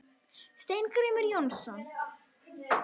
Steingrímur Jónsson.